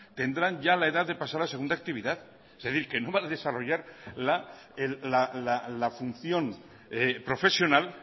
tendrán ya la edad de pasar a la segunda actividad es decir que no van a desarrollar la función profesional